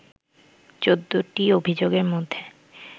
১৪টি অভিযোগের মধ্যে